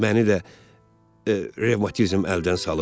Məni də revmatizm əldən salıb.